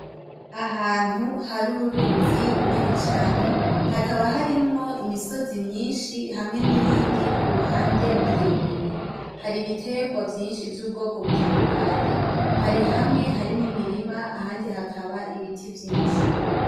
Ahantu hari uruzi runini cane hakaba harimwo imisozi myinshi hamye n’iyindi kuruhande miremire har'ibiterwa vyinshi vy'ubwoko butadukanye, hari hamwe hari n’imirima ahandi hakaba har'ibiti vyinshi.